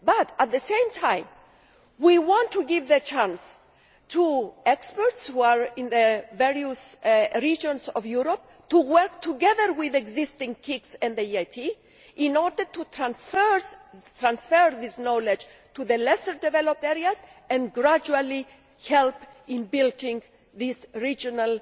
However, at the same time we want to give the chance to experts, in the various regions of Europe, to work together with existing KICs and the EIT in order to transfer this knowledge to the less developed areas and gradually help in building these regional